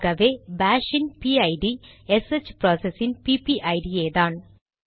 ஆகவே பாஷ் இன் PID SH process இன் பிபிஐடிPPID யேதான்